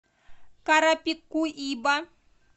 карапикуиба